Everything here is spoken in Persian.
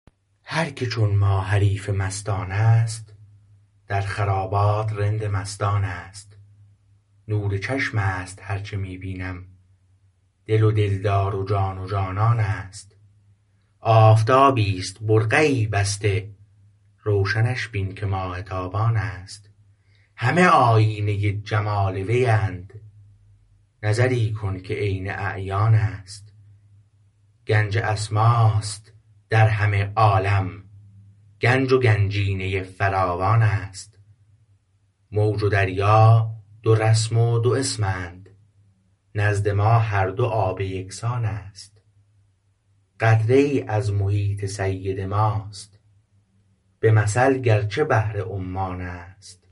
هرکه چون ما حریف مستان است در خرابات رند مستان است نور چشمست هرچه می بینم دل و دلدار و جان و جانان است آفتابی است برقعی بسته روشنش بین که ماه تابان است همه آیینه جمال ویند نظری کن که عین اعیان است گنج اسماست در همه عالم گنج و گنجینه فراوان است موج و دریا دو رسم و دو اسمند نزد ما هر دو آب یکسان است قطره ای از محیط سید ماست به مثل گرچه بحر عمان است